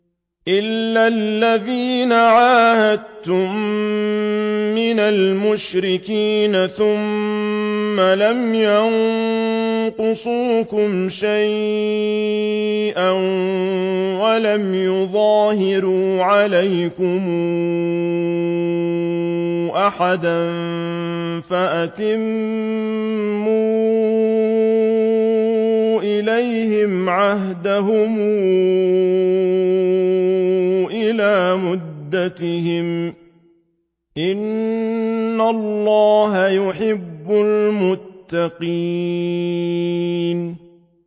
إِلَّا الَّذِينَ عَاهَدتُّم مِّنَ الْمُشْرِكِينَ ثُمَّ لَمْ يَنقُصُوكُمْ شَيْئًا وَلَمْ يُظَاهِرُوا عَلَيْكُمْ أَحَدًا فَأَتِمُّوا إِلَيْهِمْ عَهْدَهُمْ إِلَىٰ مُدَّتِهِمْ ۚ إِنَّ اللَّهَ يُحِبُّ الْمُتَّقِينَ